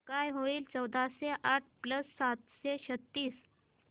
काय होईल चौदाशे आठ प्लस सातशे छ्त्तीस